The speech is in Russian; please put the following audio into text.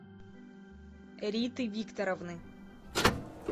риты викторовны